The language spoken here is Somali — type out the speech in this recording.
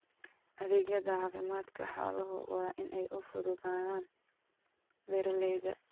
Adeegyada caafimaadka xooluhu waa in ay u fududaadaan beeralayda.